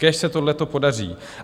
Kéž se tohle podaří!